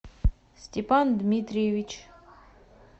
степан дмитриевич